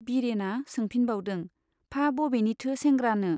बिरेना सोंफिनबावदों, फा बबेनिथो सेंग्रानो ?